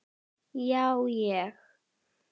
Já, ég.